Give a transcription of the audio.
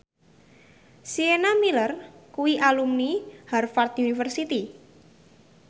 Sienna Miller kuwi alumni Harvard university